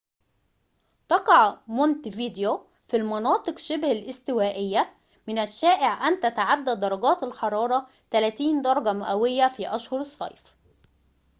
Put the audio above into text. تقع مونتفيديو في المناطق شبه الاستوائية من الشائع أن تتعدى درجات الحرارة 30 درجة مئوية في أشهر الصيف